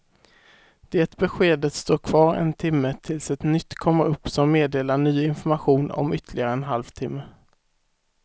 Det beskedet står kvar en timme tills ett nytt kommer upp som meddelar ny information om ytterligare en halv timme.